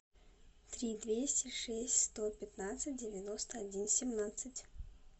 три двести шесть сто пятнадцать девяносто один семнадцать